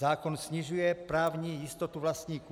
Zákon snižuje právní jistotu vlastníků.